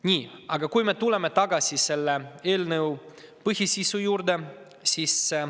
Nii, aga tulen tagasi selle eelnõu põhisisu juurde.